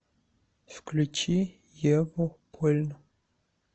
включи еву польну